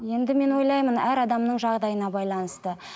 енді мен ойлаймын әр адамның жағдайына байланысты